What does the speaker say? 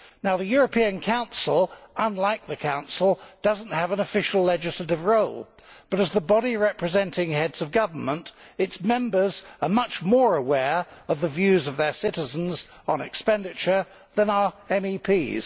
The European Council unlike the Council does not have an official legislative role, but as the body representing Heads of Government its members are much more aware of the views of their citizens on expenditure than are MEPs.